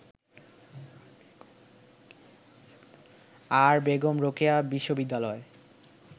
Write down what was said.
আর বেগম রোকেয়া বিশ্ববিদ্যালয়